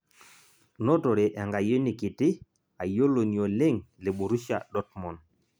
notore enkayioni kiti ayioloni oleng' le borushia dotmond